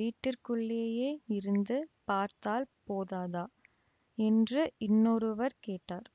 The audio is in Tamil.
வீட்டிற்குள்ளேயே இருந்து பார்த்தால் போதாதா என்று இன்னொருவர் கேட்டார்